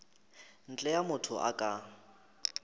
ntle a motho a ka